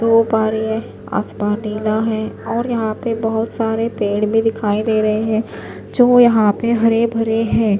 धूप आ रही है आसमान नीला है और यहां पे बहोत सारे पेड़ भी दिखाई दे रहे हैं जो यहां पे हरे भरे हैं।